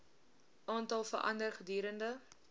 aantal verander gedurende